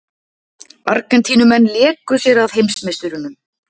Argentínumenn léku sér að heimsmeisturunum